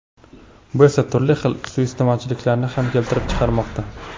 Bu esa, turli xil suiiste’molchiliklarni ham keltirib chiqarmoqda.